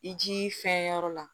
I ji fɛn yɔrɔ la